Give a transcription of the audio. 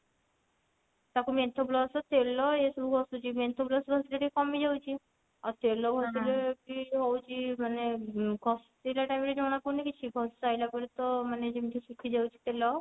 ତାକୁ menthol plus ତେଲ ଏସବୁ ଘସୁଛି menthol plus ଘସିଲେ ଟିକେ କମିଯାଉଛି ଆଉ ତେଲ ଘସିଲେ feel ହଉଛି ମାନେ କଷ୍ଟ ଘସିଲା time ରେ ଜଣା ପଡୁନି କିଛି ଘସି ସାଇଲା ପରେ ତ ମାନେ ଯେମିତି ଶୁଖିଯାଉଛି ତେଲ